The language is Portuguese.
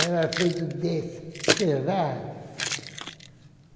Era feito desse, sei lá.